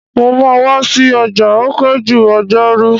Mo máa wa si ọjà o pẹ́ jù ọjọ́rú